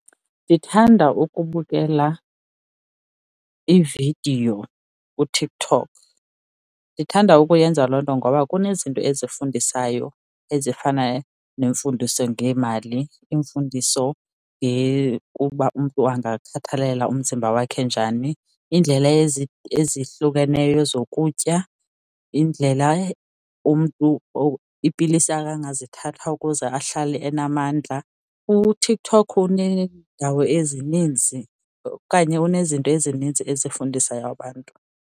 Ndithanda ukubukela iividiyo kuTikTok. Ndithanda ukuyenza loo nto ngoba kunezinto ezifundisayo ezifana nemfundiso ngemali, iimfundiso ngekuba umntu angakhathalela umzimba wakhe njani, iindlela ezihlukeneyo zokutya, indlela umntu iipilisi akangazithatha ukuze ahlale enamandla. UTikTok uneendawo ezininzi okanye unezinto ezininzi ezifundisa abantu.